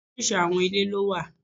Oríṣiríṣi àwọn ilé lówà.